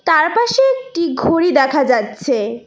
তারপাশে একটি ঘড়ি দেখা যাচ্ছে।